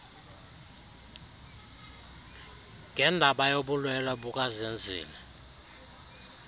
ngendaba yobulwelwe bukazenzile